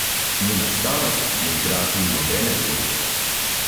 Njena starost ne igra tu nobene vloge.